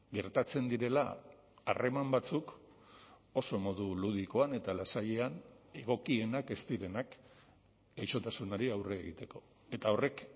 gertatzen direla harreman batzuk oso modu ludikoan eta lasaian egokienak ez direnak gaixotasunari aurre egiteko eta horrek